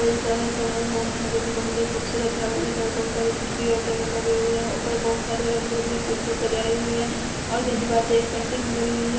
स सभा भवन है जो की बोहोत ही खूबसूरत है और इधर बोहोत सारी कुर्सी और टेबल लगे हुए हैं| ऊपर बोहोत सारे रंग-बिरंगे फूल से सजाए हुए हैं और उधर दीवार पे एक पेंटिंग भी लगी हुई है।